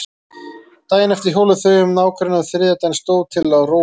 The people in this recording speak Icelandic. Daginn eftir hjóluðu þau um nágrennið og þriðja daginn stóð til að róa um vatnið.